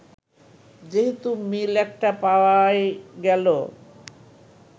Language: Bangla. যেহেতু মিল একটা পাওয়াই গেল